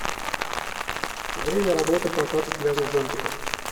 время работы проката пляжных зонтиков